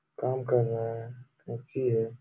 काम कर रहा है उथी है।